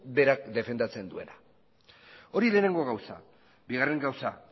berak defendatzen duena hori lehenengo gauza bigarren gauza